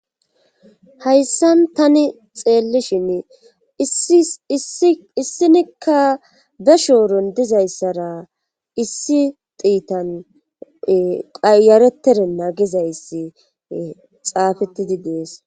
hayssan tani xeellishin issinikka be shooron dizayssara issi tiitan qayaretere na gizayssi xaafetidi dees